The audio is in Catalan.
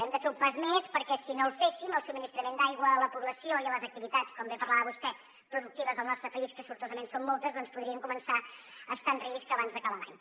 hem de fer un pas més perquè si no el féssim el subministrament d’aigua a la població i a les activitats com bé parlava vostè productives del nostre país que sortosament són moltes doncs podrien començar a estar en risc abans d’acabar l’any